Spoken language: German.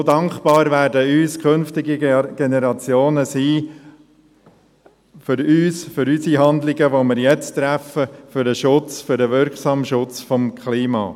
So dankbar werden uns künftige Generationen für unsere Handlungen sein – für die Handlungen, die wir jetzt vornehmen für den wirksamen Schutz des Klimas.